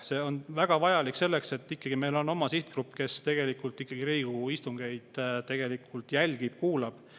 See on väga vajalik selleks, et meil on ikkagi oma sihtgrupp, kes tegelikult Riigikogu istungeid jälgib, kuulab.